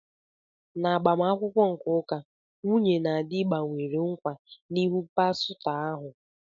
N'agbamakwụkwọ nke ụka, nwunye na di gbanwere nkwa n'ihu pastọ ahụ.